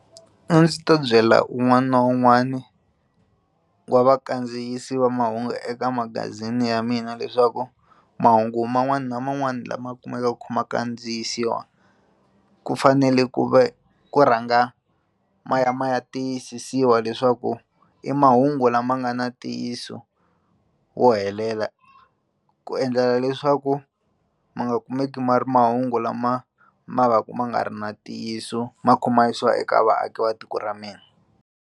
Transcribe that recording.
A ndzi ta byela un'wana na un'wana wa vakandziyisi va mahungu eka magazini ya mina leswaku mahungu man'wani na man'wani lama kumekaka ma kha ma kandziyisiwa ku fanele ku ve ku rhanga ma ya ma ya tiyisisiwa leswaku i mahungu lama nga na ntiyiso wo helela ku endlela leswaku ma nga kumeki ma ri mahungu lama ma vaka ma nga ri na ntiyiso ma kha ma yisiwa eka vaaki va tiko ra mina.